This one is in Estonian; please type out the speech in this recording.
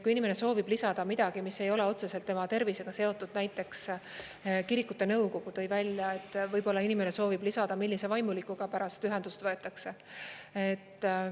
Kui inimene soovib lisada midagi, mis ei ole otseselt tema tervisega seotud, näiteks kirikute nõukogu tõi välja, et võib-olla inimene soovib lisada, millise vaimulikuga pärast ühendust võetakse.